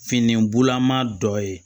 Finibulama dɔ ye